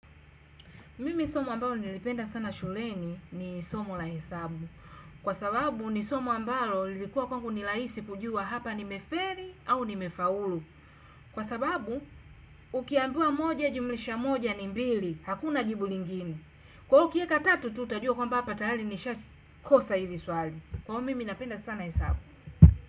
Mimi somo ambalo nilipenda sana shuleni ni somo la hesabu kwa sababu ni somo ambalo lilikuwa kwangu rahisi kujua hapa nimefeli au nimefaulu kwa sababu ukiambiwa moja jumlisha moja ni mbili, hakuna jibu lingine. Kwa hivyo ukiweka tatu, ututajua kwamba tayari nimeshakosa hivi swali. Kwa hivyo mimi napenda sana hesabu.